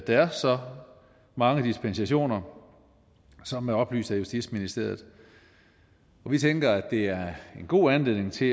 er så mange dispensationer som er oplyst af justitsministeriet vi tænker at det er en god anledning til